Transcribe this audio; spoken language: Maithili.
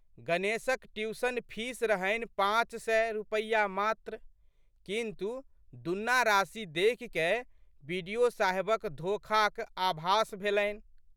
गणेशक ट्यूशन फीस रहनि पाँच सय रुपया मात्र किन्तु, दूना राशि देखिकए बि.डि.ओ.साहबक धोखाक आभास भेलनि।